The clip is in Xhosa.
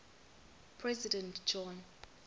president john